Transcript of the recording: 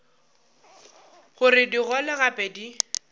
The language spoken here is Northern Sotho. gore di gole gape di